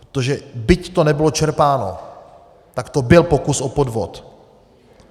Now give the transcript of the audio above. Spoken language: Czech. Protože byť to nebylo čerpáno, tak to byl pokus o podvod.